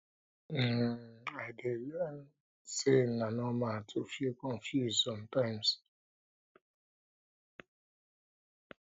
um i dey learn um say na normal to feel confused sometimes